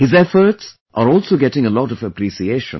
His efforts are also getting a lot of appreciation